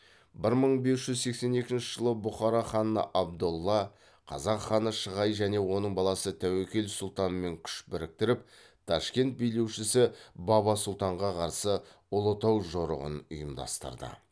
бір мың бес жүз сексен екінші жылы бұхара ханы абдолла қазақ ханы шығай және оның баласы тәуекел сұлтанмен күш біріктіріп ташкент билеушісі баба сұлтанға қарсы ұлытау жорығын ұйымдастырды